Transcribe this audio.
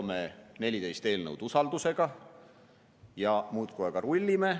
Seome 14 eelnõu usaldusega ja muudkui aga rullime.